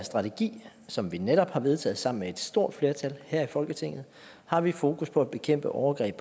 strategi som vi netop har vedtaget sammen med et stort flertal her i folketinget har vi fokus på at bekæmpe overgreb